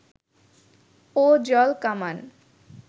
ও জল কামান